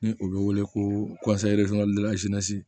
Ni o bɛ wele ko